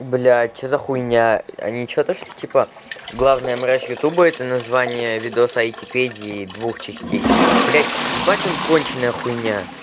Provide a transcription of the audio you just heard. блять что за хуйня а ничего то что типа главная мразь ютуба а это название видос айтипедии двух частей блять ебать он конченная хуйня